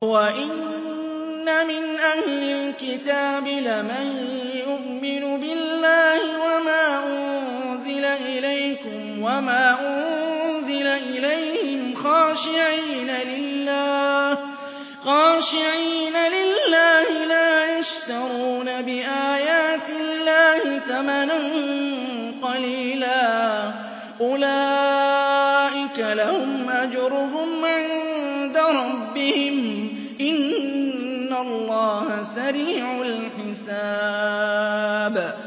وَإِنَّ مِنْ أَهْلِ الْكِتَابِ لَمَن يُؤْمِنُ بِاللَّهِ وَمَا أُنزِلَ إِلَيْكُمْ وَمَا أُنزِلَ إِلَيْهِمْ خَاشِعِينَ لِلَّهِ لَا يَشْتَرُونَ بِآيَاتِ اللَّهِ ثَمَنًا قَلِيلًا ۗ أُولَٰئِكَ لَهُمْ أَجْرُهُمْ عِندَ رَبِّهِمْ ۗ إِنَّ اللَّهَ سَرِيعُ الْحِسَابِ